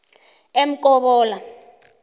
emkobolo